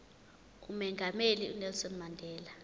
umongameli unelson mandela